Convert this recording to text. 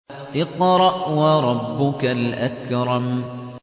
اقْرَأْ وَرَبُّكَ الْأَكْرَمُ